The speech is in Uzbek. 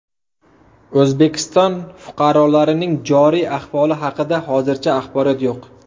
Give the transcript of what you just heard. O‘zbekiston fuqarolarining joriy ahvoli haqida hozircha axborot yo‘q.